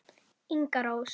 Inga Rós.